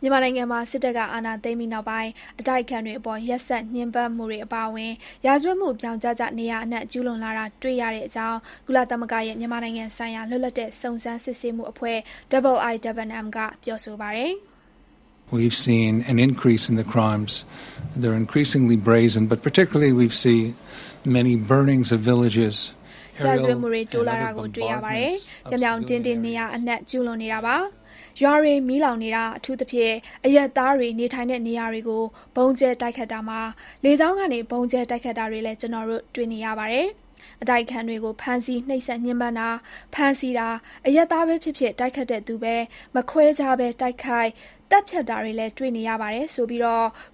မြန်မာနိုင်ငံမှာ စစ်တပ်က အာဏာသိမ်းပြီးနောက်ပိုင်း အတိုက်အခံတွေအပေါ် ရက်စက်ညှဉ်းပန်းမှုတွေအပါအဝင် ရာဇဝတ်မှုတွေ ဗြောင်ကျကျ နေရာအနှံ့ ကျုးလွန်လာတာ တွေ့ရတဲ့အကြောင်း ကုလသမဂ္ဂရဲ့ မြန်မာနိုင်ငံဆိုင်ရာ လွတ်လပ်တဲ့ စုံစမ်းစစ်ဆေးမှုအဖွဲ့ IIMM က ပြောဆိုပါတယ်။ ရာဇဝတ်မှုတွေ တိုးလာတာကို တွေ့ရပါတယ်။ ပြောင်ပြောင်တင်းတင်း နေရာအနှံ့ ကျုးလွန်နေတာပါ။ ရွာတွေ မီးလောင်နေတာ၊ အထူးသဖြင့် အရပ်သားတွေ နေထိုင်တဲ့ နေရာတွေကို ဗုံးကျဲ တိုက်ခိုက်တာမှာ လေကြောင်းကနေ ဗုံးကျဲ တိုက်ခိုက်တာတွေလည်း ကျနော်တို့ တွေ့နေရပါတယ်။ အတိုက်အခံတွေကို ဖမ်းဆီး နှိပ်စက်ညှဉ်းပန်းတာ၊ ဖမ်းဆီးတာ။ အရပ်သားပဲဖြစ်ဖြစ် တိုက်ခိုက်တဲ့သူပဲ မခွဲခြားပဲ တိုက်ခိုက် သတ်ဖြတ်တာတွေလည်း တွေ့နေရပါတယ်ဆိုပြီး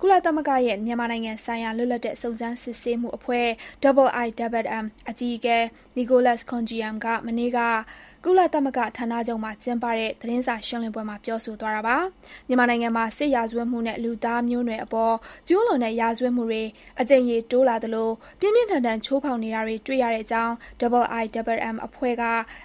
ကုလသမဂ္ဂရဲ့ မြန်မာနိုင်ငံဆိုင်ရာ လွတ်လပ်တဲ့ စုံစမ်းစစ်ဆေးမှုအဖွဲ့ IIMM အကြီးအကဲ Nicholas Koumjian က မနေ့က ကုလသမဂ္ဂဌာနချုပ်မှာ ကျင်းပတဲ့ သတင်းစာရှင်းလင်းပွဲမှာ ပြောဆိုသွားတာပါ။ မြန်မာနိုင်ငံမှာ စစ်ရာဇဝတ်မှုနဲ့ လူသားမျိုးနွယ်အပေါ်ကျူးလွန်တဲ့ရာဇဝတ်မှုတွေ အကြိမ်ရေတိုးလာသလို ပြင်းပြင်းထန်ထန် ချိုးဖေါက်နေတာတွေ တွေ့ရတဲ့အကြောင်း IIMM အဖွဲ့က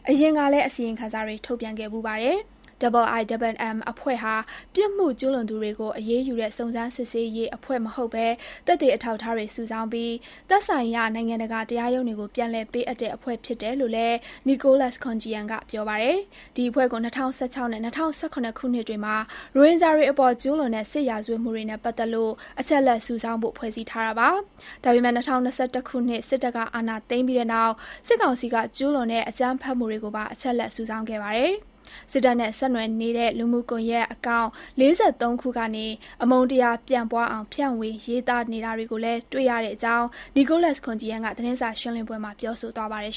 အရင်ကလည်း အစီရင်ခံစာတွေ ထုတ်ပြန်ခဲ့ဖူးပါတယ်။ IIMM အဖွဲ့ဟာ ပြစ်မှုကျုးလွန်သူတွေကို အရေးယူတဲ့ စုံစမ်းစစ်ဆေးရေး အဖွဲ့မဟုတ်ဘဲ သက်သေ အထောက်အထားတွေ စုဆောင်းပြီး သက်ဆိုင်ရာ နိုင်ငံတကာ တရားရုံးတွေကို ပြန်လည်ပေးအပ်တဲ့ အဖွဲ့ဖြစ်တယ်လို့လည်း Nicholas Koumjian က ပြောပါတယ်။ ဒီအဖွဲ့ကို ၂၀၁၆ နဲ့ ၂၀၁၇ ခုနှစ်တွေမှာ ရိုဟင်ဂျာတွေအပေါ် ကျူးလွန်တဲ့ စစ်ရာဇတ်ဝတ်မှုတွေနဲ့ပတ်သက်လို့ အချက်အလက်စုဆောင်းဖို့ ဖွဲ့စည်းခဲ့တာပါ။ ဒါပေမယ့် ၂၀၂၁ ခုနှစ် စစ်တပ်က အာဏာသိမ်းပြီးတဲ့နောက် စစ်ကောင်စီက ကျူးလွန်တဲ့ အကြမ်းဖက်မှုတွေကိုပါ အချက်အလက်စုဆောင်းခဲ့ပါတယ်။ စစ်တပ်နဲ့ ဆက်နွယ်နေတဲ့ လူမှုကွန်ယက် Account ၄၃ ခုကနေ အမုန်းတရား ပျံ့ပွားအောင် ဖြန့်ဝေရေးသားနေတာတွေကိုလည်း တွေ့ရတဲ့အကြောင်း Nicholas Koumjian က သတင်းစာရှင်းလင်းပွဲမှာ ပြောဆိုသွားပါတယ်